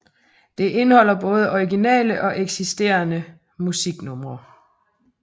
Det indeholder både originale og eksisterende musiknumre